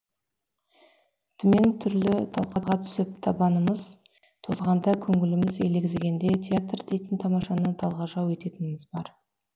түмен түрлі талқыға түсіп табанымыз тозғанда көңіліміз елегізгенде театр дейтін тамашаны талғажау ететініміз бар